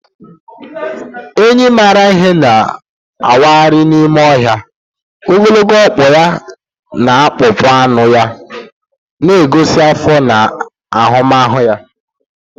Enyi maara ihe na-awagharị n’ime ọhịa, ogologo ọkpụ ya na akpụkpọ anụ ya na-egosi afọ na ahụmahụ ya.